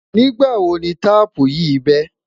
nígbà wò ní taààpu yì be?